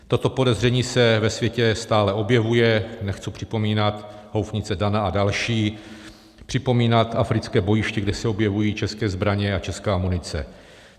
Toto podezření se ve světě stále objevuje, nechci připomínat houfnice DANA a další, připomínat africké bojiště, kde se objevují české zbraně a česká munice.